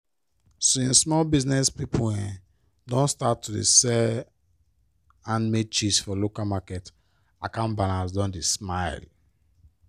since small business pipo um don start to sell handmade cheese for local market account balance don dey smile.